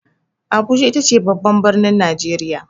Abuja ita ce babban birnin Najeriya.